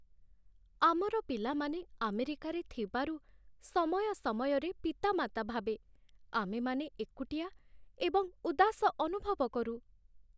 ଆମର ପିଲାମାନେ ଆମେରିକାରେ ଥିବାରୁ, ସମୟ ସମୟରେ ପିତାମାତା ଭାବେ ଆମେମାନେ ଏକୁଟିଆ ଏବଂ ଉଦାସ ଅନୁଭବ କରୁ।